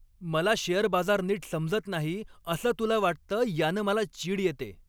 मला शेअर बाजार नीट समजत नाही असं तुला वाटतं यानं मला चीड येते.